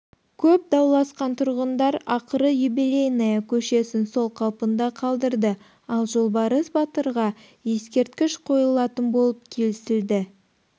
көп дауласқан тұрғындар ақыры юбелейная көшесін сол қалпында қалдырды ал жолбарыс батырға ескерткіш қойылтын болып келісілді